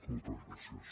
moltes gràcies